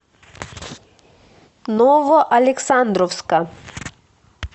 новоалександровска